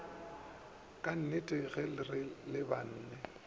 ka dinnete ge re lebanwe